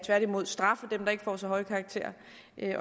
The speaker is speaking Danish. straffe dem der ikke får så høje karakterer